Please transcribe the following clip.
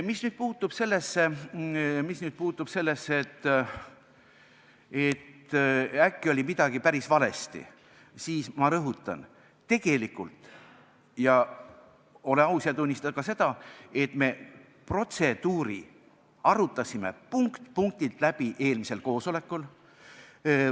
Mis puudutab seda, et äkki oli midagi päris valesti, siis ma rõhutan, et tegelikult – ole aus ja tunnista ka seda – arutasime me protseduuri punkt-punktilt läbi eelmisel koosolekul.